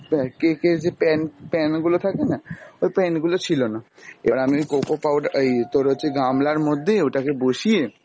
অ্যাঁ cake এর যে pan pan গুলো থাকেনা ওই pan গুলো ছিলনা। এবার আমি ওই coco powder এই তোর হচ্ছে গামলার মধ্যেই ওটাকে বসিয়ে